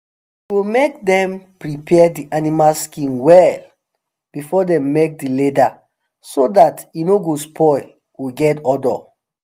e go make dem prepare the animal skin well before dem make the leather so dat e no go spoil or get odour